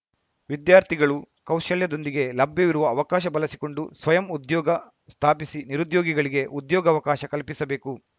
ವಿದ್ಯಾರ್ಥಿಗಳು ಕೌಶಲ್ಯದೊಂದಿಗೆ ಲಭ್ಯವಿರುವ ಅವಕಾಶ ಬಳಸಿಕೊಂಡು ಸ್ವಯಂ ಉದ್ಯೋಗ ಸ್ಥಾಪಿಸಿ ನಿರುದ್ಯೋಗಿಗಳಿಗೆ ಉದ್ಯೋಗಾವಕಾಶ ಕಲ್ಪಿಸಬೇಕು